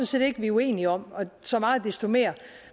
set ikke vi er uenige om og så meget desto mere